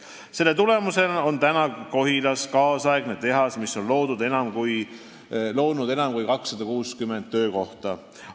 Selle tulemusena on Kohilas kaasaegne tehas, mis on loonud enam kui 260 töökohta.